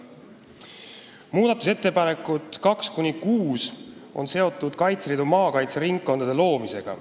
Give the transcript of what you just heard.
Muudatusettepanekud 2–6 on seotud Kaitseliidu maakaitseringkondade loomisega.